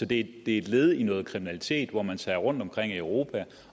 det er et led i noget kriminalitet hvor man tager rundt i europa